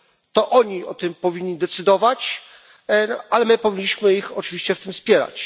To oni o tym powinni decydować, ale my powinniśmy ich oczywiście w tym wspierać.